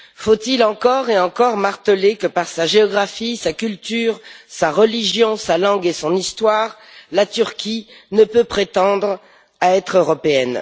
Faut il encore et encore marteler que, par sa géographie, sa culture, sa religion, sa langue et son histoire, la Turquie ne peut prétendre être européenne?